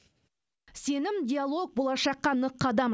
сенім диалог болашаққа нық қадам